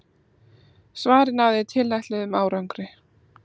Svarið náði tilætluðum árangri.